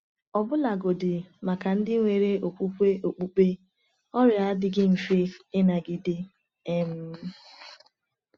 Ọbụlagodi maka ndị nwere okwukwe okpukpe, ọrịa adịghị mfe ịnagide. um